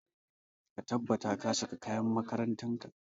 Ka tabbata ka saka kayan makarantar ka!